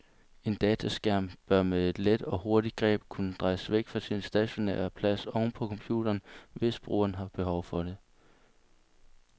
En dataskærm bør med et let og hurtigt greb kunne drejes væk fra sin stationære plads oven på computeren, hvis brugeren har behov for det.